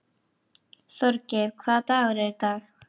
Þorgeir, hvaða dagur er í dag?